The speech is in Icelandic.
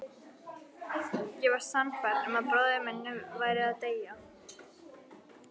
Ég var sannfærð um að bróðir minn væri að deyja